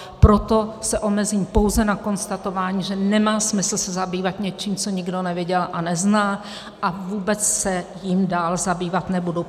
Proto se omezím pouze na konstatování, že nemá smysl se zabývat něčím, co nikdo neviděl a nezná, a vůbec se jím dál zabývat nebudu.